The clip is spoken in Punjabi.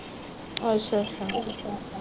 ਅੱਛਾ ਅੱਛਾ